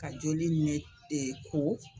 Ka joli ne ko.